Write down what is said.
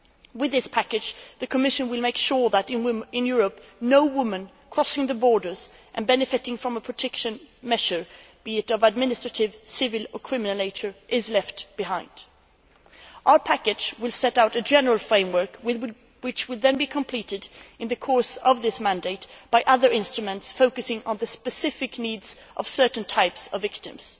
With this package, the Commission will make sure that in Europe, no woman crossing the borders and benefiting from a protection measure be it of an administrative, civil or criminal nature is left behind. Our package will set out a general framework, which would then be completed in the course of this mandate by other instruments focusing on the specific needs of certain types of victims.